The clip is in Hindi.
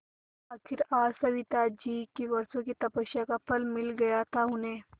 आखिर आज सविताजी की वर्षों की तपस्या का फल मिल गया था उन्हें